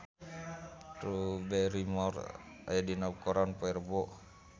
Drew Barrymore aya dina koran poe Rebo